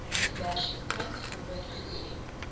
diversiteit gehoor gegee